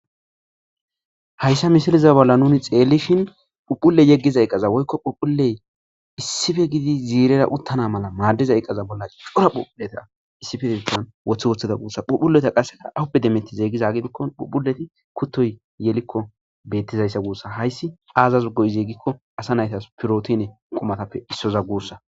Hayisa misileza bollan nuni xelishin phuphule yegiza iqaza woyiko phuphule issippe gididi zirera utana mala madida iqaza bollan c,ora phuphuleta issippe wotiwotida gusa phuphuleta qassika awuppe demetida giko kutoyi yeliko betizayisa hayissi azasi go,ize giko asa nayitas protine qumatappe isoza gusa